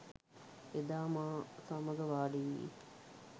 එදා මා සමග වාඩි වී